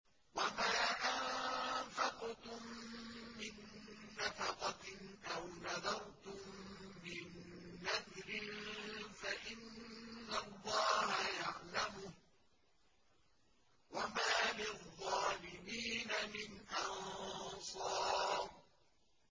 وَمَا أَنفَقْتُم مِّن نَّفَقَةٍ أَوْ نَذَرْتُم مِّن نَّذْرٍ فَإِنَّ اللَّهَ يَعْلَمُهُ ۗ وَمَا لِلظَّالِمِينَ مِنْ أَنصَارٍ